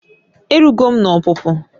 Ee erugo m n'opupu